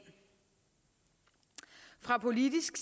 fra politisk